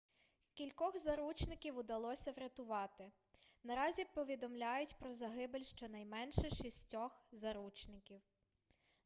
кількох заручників удалося врятувати наразі повідомляють про загибель щонайменше шістьох заручників